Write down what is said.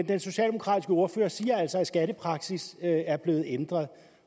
den socialdemokratiske ordfører siger altså at skattepraksis er blevet ændret